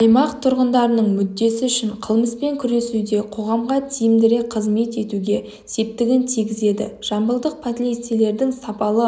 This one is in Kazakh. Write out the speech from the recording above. аймақ тұрғындарының мүддесі үшін қылмыспен күресуде қоғамға тиімдірек қызмет етуге септігін тигізеді жамбылдық полицейлердің сапалы